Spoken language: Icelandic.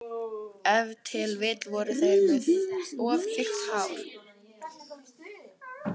Ef til vill voru þeir með of þykkt hár.